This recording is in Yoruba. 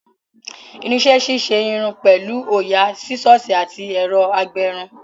Irinṣẹ́ ṣíṣe irun pẹ̀lú òyà, Sísọ̀sì àti ẹ̀rọ agbẹrun